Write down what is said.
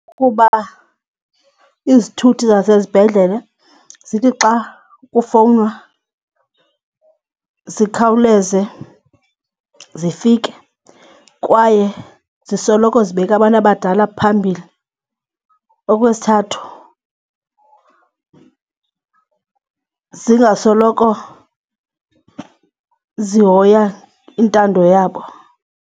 Kukuba izithuthi zasesibhedlele zithi xa kufowunwa zikhawuleze zifike kwaye zisoloko zibeka abantu abadala phambili. Okwesithathu, zingasoloko zihoya intando yabo.